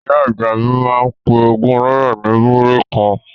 Ìyá àgbà mi máa ń pe ogún náírà ní múrí kan